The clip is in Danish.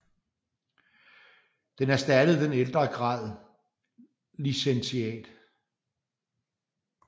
Den erstattede den ældre grad licentiat